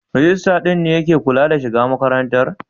Rijistar din ne ya ke kula da shiga makarantar?